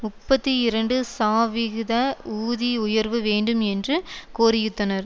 முப்பத்தி இரண்டு சாவிகித ஊதி உயர்வு வேண்டும் என்றும் கோரியித்தனர்